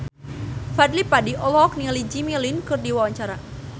Fadly Padi olohok ningali Jimmy Lin keur diwawancara